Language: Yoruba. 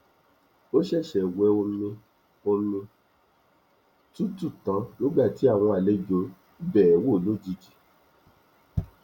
ó ṣẹṣẹ wẹ omi omi tútù tán nígbà tí àwọn àlejò bẹẹ wò lójijì